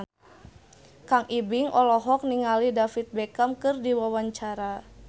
Kang Ibing olohok ningali David Beckham keur diwawancara